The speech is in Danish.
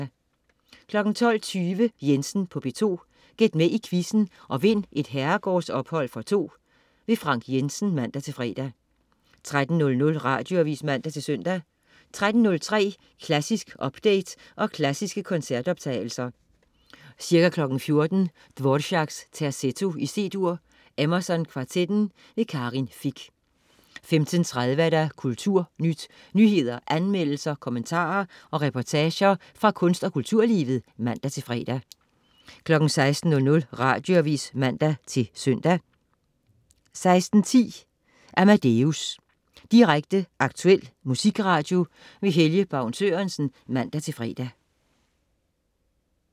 12.20 Jensen på P2. Gæt med i quizzen og vind et herregårdsophold for to. Frank Jensen (man-fre) 13.00 Radioavis (man-søn) 13.03 Klassisk update og klassiske koncertoptagelser. Ca. 14.00 Dvoráks Terzetto, C-dur. Emerson Kvartetten. Karin Fich 15.30 Kulturnyt. Nyheder, anmeldelser, kommentarer og reportager fra kunst- og kulturlivet (man-fre) 16.00 Radioavis (man-søn) 16.10 Amadeus. Direkte, aktuel musikradio. Helge Baun Sørensen (man-fre)